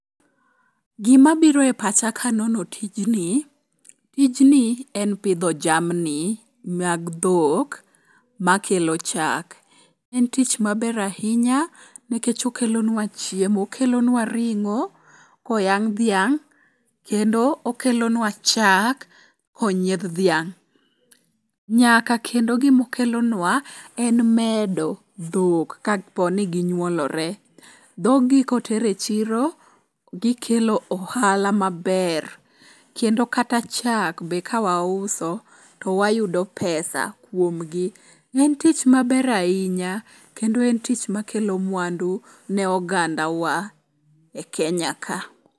Gima biro e pacha kanono tijni, tijni en pidho jamni mag dhok makelo chak. En tich maber ahinya nikech okelonwa chiemo. Okelonwa ring'o koyang' dhiang'. Kendo okelonwa chak konyiedh dhiang'. Nyaka kendo gimokelonwa en medo dhok ka po ni ginyuolore. Dhogi koter e chiro, gikelo ohala maber. Kendo kata chak be kawauso towayudo pesa kuomgi. En tich maber ahinya kendo en tich makelo mwandu ne oganda wa e Kenya ka.